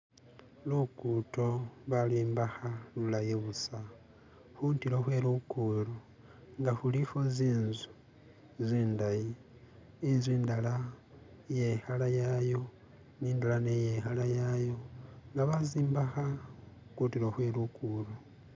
Luguudo balwombeka lulayi busa, kuntulo kwe luguudo nga kuliko zinzu zindayi, inzu indala iye kala yayo indala nayo iye kala yayo nga bazombeka kuntulo kwe luguudo.